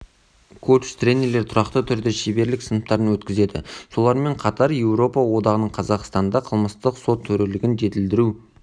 коуч-тренерлер тұрақты түрде шеберлік сыныптарын өткізеді солармен қатар еуропа одағының қазақстанда қылмыстық сот төрелігін жетілдіру